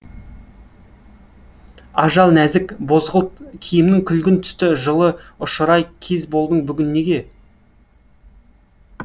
ажал нәзік бозғылт киімің күлгін түсті жылыұшырай кез болдың бүгін неге